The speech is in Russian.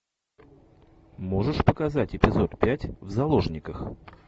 можешь показать эпизод пять в заложниках